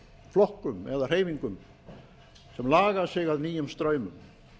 flokkum eða hreyfingum sem laga sig að nýjum straumum